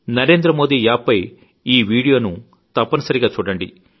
Narendra Modi app పై ఈవీడియోను తప్పని సరిగా చూడండి